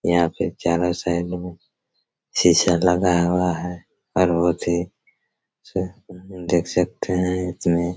यहाँ पे चारो साइड में सीसा लगा हुआ हैं और वो भी देख सकते हैं इसमें--